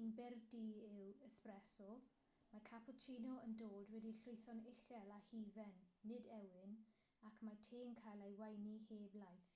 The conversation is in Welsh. un byr du yw espresso mae cappuccino yn dod wedi'i lwytho'n uchel â hufen nid ewyn ac mae te'n cael ei weini heb laeth